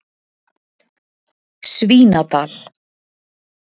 Svínadal